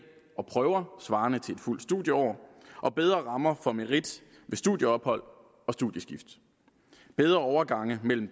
og prøver svarende til et fuldt studieår bedre rammer for merit ved studieophold og studieskift bedre overgange mellem